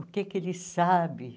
O que é que ele sabe?